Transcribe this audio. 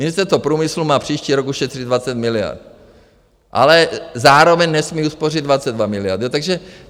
Ministerstvo průmyslu má příští rok ušetřit 20 miliard, ale zároveň nesmí uspořit 22 miliard.